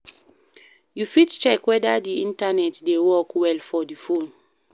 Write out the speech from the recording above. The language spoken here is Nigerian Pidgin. You fit check weda di Internet dey work well for the phone